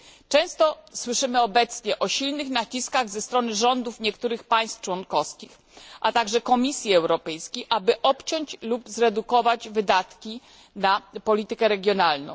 Często słyszymy obecnie o silnych naciskach ze strony rządów niektórych państw członkowskich, a także Komisji Europejskiej, aby obciąć lub zredukować wydatki na politykę regionalną.